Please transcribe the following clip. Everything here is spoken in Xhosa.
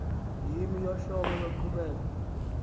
yimo yohlobo loqhubeko